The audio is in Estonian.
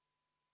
Ei soovinud.